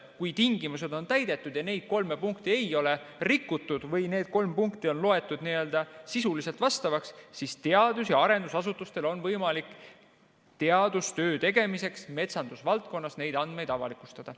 Kui tingimused on täidetud ja neid kolme punkti ei ole rikutud või need kolm punkti on loetud n-ö sisuliselt vastavaks, siis teadus- ja arendusasutustel on võimalik teadustöö tegemiseks metsandusvaldkonnas neid andmeid avalikustada.